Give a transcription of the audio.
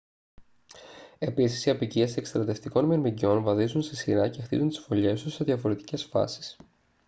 επίσης οι αποικίες εκστρατευτικών μυρμηγκιών βαδίζουν σε σειρά και χτίζουν τις φωλιές τους σε διαφορετικές φάσεις